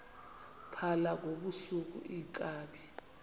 phala ngobusuku iinkabi